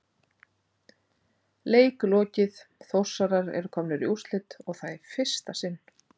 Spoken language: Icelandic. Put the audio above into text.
Leik lokið Þórsarar eru komnir í úrslit og það í fyrsta sinn!